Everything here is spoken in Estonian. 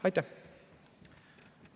Aitäh!